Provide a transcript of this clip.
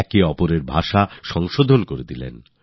একজন আরেকজনের ভাষা ঠিক করে দিতে থাকলেন